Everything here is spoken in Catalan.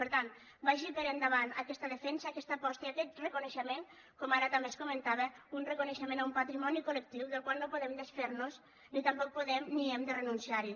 per tant vagi per endavant aquesta defensa aquesta aposta i aquest reconeixement com ara també es comentava un reconeixement a un patrimoni col·lectiu del qual no podem desfer nos ni tampoc podem ni hem de renunciar hi